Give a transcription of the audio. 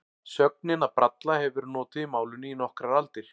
Sögnin að bralla hefur verið notuð í málinu í nokkrar aldir.